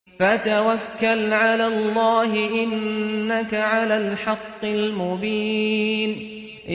فَتَوَكَّلْ عَلَى اللَّهِ ۖ إِنَّكَ عَلَى الْحَقِّ الْمُبِينِ